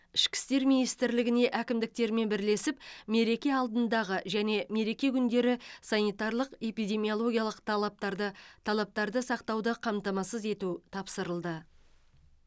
ішкі істер министрлігіне әкімдіктермен бірлесіп мереке алдындағы және мереке күндері санитарлық эпидемиологиялық талаптарды талаптарды сақтауды қамтамасыз ету тапсырылды